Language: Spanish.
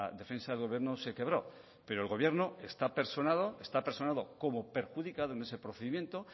defensa del gobierno se quebró pero el gobierno está personado como perjudicado en ese procedimiento